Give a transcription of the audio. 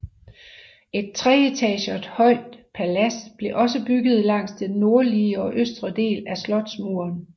Et tre etager højt palads blev også bygget langs den nordlige og østre del af slotsmuren